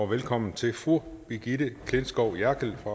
velkommen til fru brigitte klintskov jerkel fra